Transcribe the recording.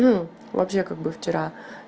ну вообще как бы вчера